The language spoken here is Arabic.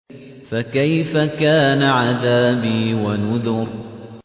فَكَيْفَ كَانَ عَذَابِي وَنُذُرِ